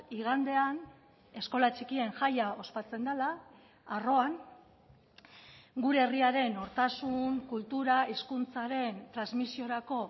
igandean eskola txikien jaia ospatzen dela arroan gure herriaren nortasun kultura hizkuntzaren transmisiorako